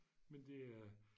Men det er